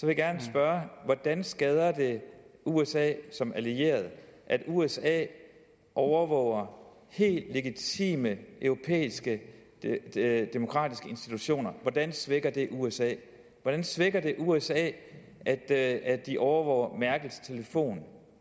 jeg gerne spørge hvordan skader det usa som allieret at usa overvåger helt legitime europæiske demokratiske institutioner hvordan svækker det usa hvordan svækker det usa at at de overvåger merkels telefon